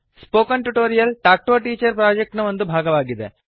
spoken tutorial talk to a teacher project ನ ಒಂದು ಭಾಗವಾಗಿದೆ